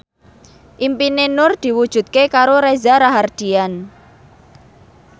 impine Nur diwujudke karo Reza Rahardian